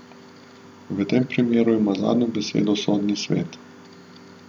V tem primeru ima zadnjo besedo sodni svet.